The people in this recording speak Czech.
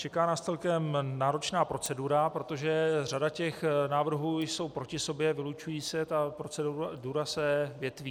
Čeká nás celkem náročná procedura, protože řada těch návrhů jsou proti sobě, vylučují se, ta procedura se větví.